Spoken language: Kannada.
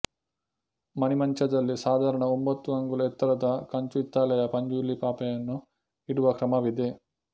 ಮಣೆಮಂಚದಲ್ಲಿ ಸಾಧಾರಣ ಒಂಭತ್ತು ಅಂಗುಲ ಎತ್ತರದ ಕಂಚುಹಿತ್ತಾಳೆಯ ಪಂಜುರ್ಲಿ ಪಾಪೆಯನ್ನು ಇಡುವ ಕ್ರಮವಿದೆ